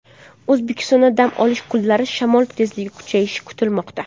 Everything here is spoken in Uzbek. O‘zbekistonda dam olish kunlari shamol tezligi kuchayishi kutilmoqda.